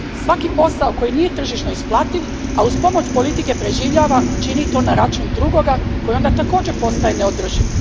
Svaki posao koji nije tržišno isplativ, a uz pomoć politike preživljava, čini to na račun drugoga koji onda također postaje neodrživ.